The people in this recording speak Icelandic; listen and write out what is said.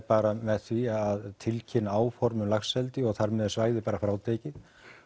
bara með því að tilkynna áform um laxeldi og þar með er svæðið bara frátekið